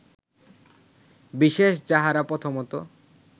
বিশেষ যাহারা প্রথমত